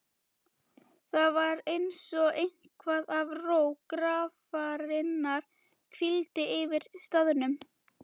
Það var einsog eitthvað af ró grafarinnar hvíldi yfir staðnum.